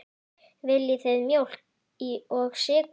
Viljið þið mjólk og sykur?